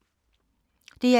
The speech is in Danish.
DR2